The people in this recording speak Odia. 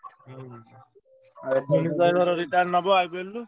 ହୁଁ retired ନବ IPL ରୁ।